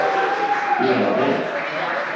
Spila vel